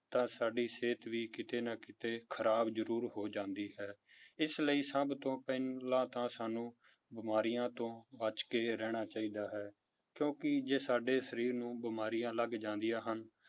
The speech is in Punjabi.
ਤਾਂ ਸਾਡੀ ਸਿਹਤ ਵੀ ਕਿਤੇ ਨਾ ਕਿਤੇ ਖਰਾਬ ਜ਼ਰੂਰ ਹੋ ਜਾਂਦੀ ਹੈ ਇਸ ਲਈ ਸਭ ਤੋਂ ਪਹਿਲਾਂ ਤਾਂ ਸਾਨੂੰ ਬਿਮਾਰਿਆਂ ਤੋਂ ਬਚ ਕੇ ਰਹਿਣਾ ਚਾਹੀਦਾ ਹੈ, ਕਿਉਂਕਿ ਜੇ ਸਾਡੇ ਸਰੀਰ ਨੂੰ ਬਿਮਾਰੀਆਂ ਲੱਗ ਜਾਂਦੀਆਂ ਹਨ,